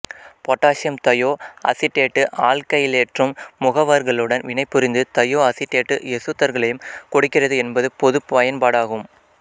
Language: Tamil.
பொட்டாசியம் தயோ அசிட்டேட்டு ஆல்க்கைலேற்றும் முகவர்களுடன் வினைபுரிந்து தயோ அசிட்டேட்டு எசுத்தர்களைக் கொடுக்கிறது என்பது பொதுப் பயன்பாடாகும்